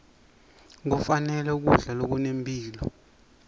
kufanele kudla lokunempilo